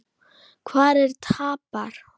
Hver tapar?